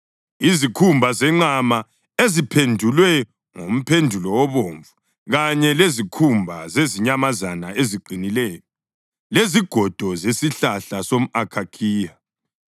izikhumba zenqama eziphendulwe ngomphendulo obomvu kanye lezikhumba zezinyamazana eziqinileyo; lezigodo zesihlahla somʼakhakhiya;